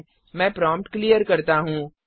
मैं prompt clear करता हूँ